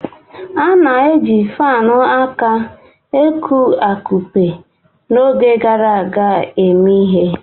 A na-eji fanụ aka eku-akụpe n'oge gara aga eme ihe